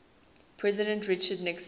president richard nixon